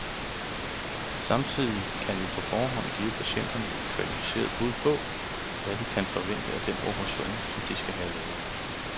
Samtidig kan vi på forhånd give patienterne et kvalificeret bud på, hvad de kan forvente af den operation, de skal have lavet.